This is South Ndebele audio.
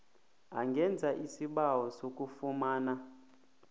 angenza isibawo sokufumana